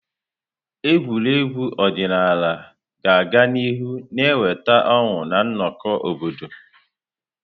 Egwuregwu ọdịnala ga-aga n'ihu na-eweta ọṅụ na nnọkọ obodo.